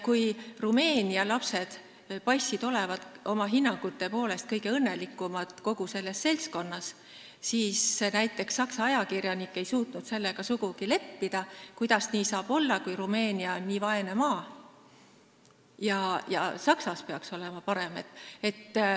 Kui Rumeenia lapsed paistsid olevat oma hinnangute poolest kõige õnnelikumad kogu selles seltskonnas, siis näiteks Saksa ajakirjanik ei suutnud sellega kuidagi leppida, sest kuidas nii saab olla, Rumeenia on nii vaene maa ja Saksamaal peaks parem olema.